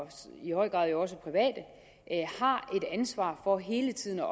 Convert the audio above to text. i høj grad også private har et ansvar for hele tiden at